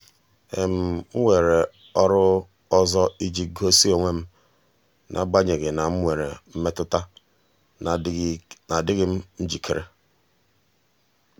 m weere ọrụ ọzọ iji gosi onwe m n'agbanyeghị na m nwere mmetụta na adịghị m njikere.